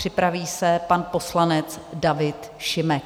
Připraví se pan poslanec David Šimek.